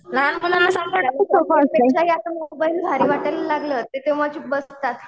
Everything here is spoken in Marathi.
भारी वाटायला लागलं तर तेंव्हा ते चूप बसतात.